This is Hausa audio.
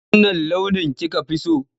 Wanne launi kika fi so?